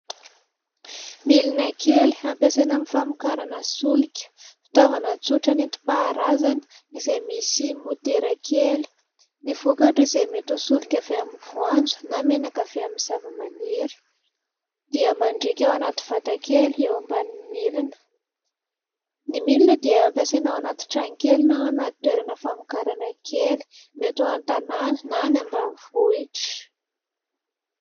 Milina kely ampiasaina amin'ny famokarana solika fitaovana tsotra nentim-paharazana izay misy motera kely. Ny vokatra izay mety solika avy amin'ny voanjo na menaka vita amin'ny zava-maniry dia mandriaka ao anaty vatakely eo ambanin'ny milina. Ny milina dia hampiasaina ao anaty trano kely na ao anaty toerana famokarana kely mety ho an-tanàna na any ambanivohitra.